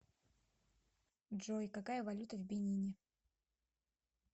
джой какая валюта в бенине